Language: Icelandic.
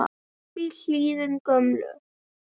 upp í hlíðina gömlu